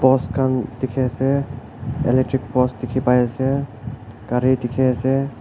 pots khan dikhi ase electric post dikhi pai ase gari dikhi ase.